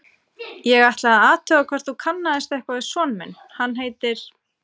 Ég ætlaði að athuga hvort þú kannaðist eitthvað við son minn, hann heitir